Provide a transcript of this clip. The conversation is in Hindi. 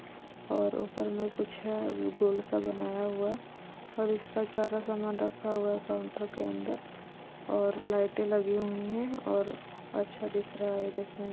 और ऊपर में कुछ है अभी गोलसा बनाया हुआ और इसका सारा सामान रखा हुआ है काउंटर के अंदर और लाइटे लगी हुई है और अच्छा दिख रहा है देखने में।